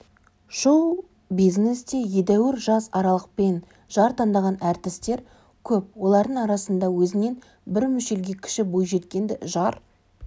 шоу-бизнесте едәуір жас аралықпен жар таңдаған әртістер көп олардың арасында өзінен бір мүшелге кіші бойжеткенді жар